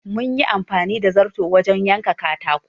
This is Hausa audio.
Mun yi amfani da zarto wajen yanka katako.